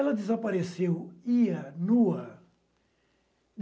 Ela desapareceu, ia, nua.